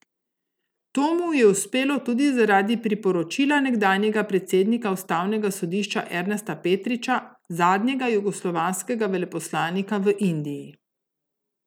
To mu je uspelo tudi zaradi priporočila nekdanjega predsednika ustavnega sodišča Ernesta Petriča, zadnjega jugoslovanskega veleposlanika v Indiji.